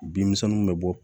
Bin misɛnninw bɛ bɔ